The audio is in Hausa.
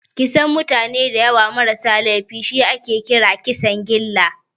Kisan mutane dayawa ma rasa laifi shi ake kira Kisan gilla